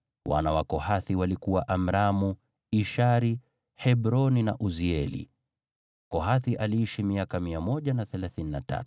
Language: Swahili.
Wana wa Kohathi walikuwa Amramu, Ishari, Hebroni na Uzieli. Kohathi aliishi miaka 133.